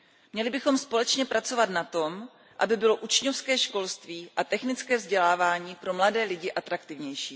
Měli bychom společně pracovat na tom, aby bylo učňovské školství a technické vzdělávání pro mladé lidi atraktivnější.